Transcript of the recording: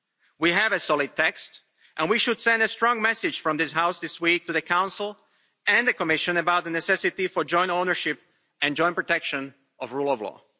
We have a solid text and we should send a strong message from this House this week to the Council and the Commission about the necessity for joint ownership and joint protection of rule of law.